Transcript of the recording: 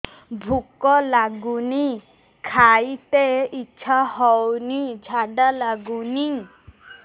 ଭୁକ ଲାଗୁନି ଖାଇତେ ଇଛା ହଉନି ଝାଡ଼ା ଲାଗୁନି